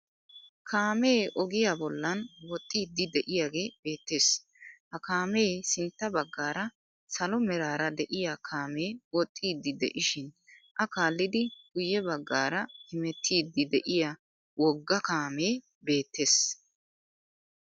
Kaamee ogiyaa bollan woxxiiddi de'iyaagee beettes. Ha kaamee sintta baggaara salo meraara de'iya kaamee woxxiiddi de'ishin a kaallidi guyye baggaara hemettiiddi de'iya wogga kaamee beettes.